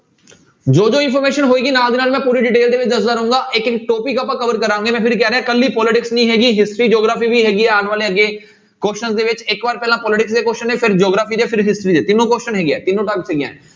ਜੋ ਜੋ information ਹੋਏਗੀ ਨਾਲ ਦੀ ਨਾਲ ਮੈਂ ਪੂਰੀ detail ਦੇ ਵਿੱਚ ਦੱਸਦਾਂ ਰਹਾਂਗੇ topic ਆਪਾਂ cover ਕਰਾਂਗੇ, ਮੈਂ ਫਿਰ ਕਹਿ ਰਿਹਾਂ ਇਕੱਲੀ politics ਨੀ ਹੈਗੀ history, geography ਵੀ ਹੈਗੀ ਆ ਆਉਣ ਵਾਲੇ ਅੱਗੇ questions ਦੇ ਵਿੱਚ, ਇੱਕ ਵਾਰ ਪਹਿਲਾਂ politics ਦੇ question ਨੇ, ਫਿਰ geography ਦੇ, ਫਿਰ history ਦੇ ਤਿੰਨੋਂ question ਹੈਗੇ ਆ ਤਿੰਨੋ